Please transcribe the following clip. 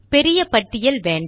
பெரிய பட்டியல் வேண்டாம்